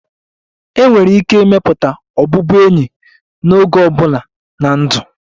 Enwere ike ịmepụta ọbụbụenyi n'oge ọ bụla na ndụ.